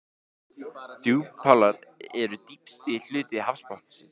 Djúpálar eru dýpsti hluti hafsbotnsins.